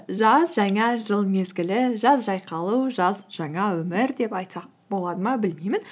жаз жаңа жыл мезгілі жаз жайқалу жаз жаңа өмір деп айтсақ болады ма білмеймін